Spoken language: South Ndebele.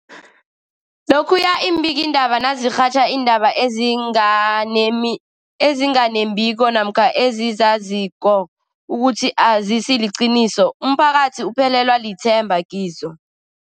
Lokhuya iimbikiindaba nazirhatjha iindaba ezinga nemi ezinga nembiko namkha ezizaziko ukuthi azisiliqiniso, umphakathi uphelelwa lithemba kizo.